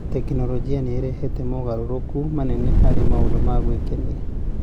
Tekinoronjĩ nĩ ĩrehete mogarũrũku manene harĩ maũndũ ma gwĩkenia.